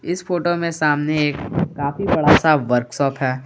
इस फोटो में सामने एक काफी बड़ा सा वर्कशॉप है।